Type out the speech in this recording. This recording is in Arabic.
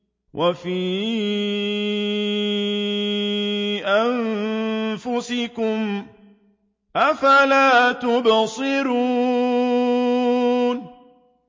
وَفِي أَنفُسِكُمْ ۚ أَفَلَا تُبْصِرُونَ